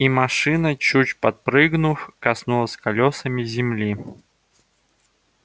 и машина чуть подпрыгнув коснулась колёсами земли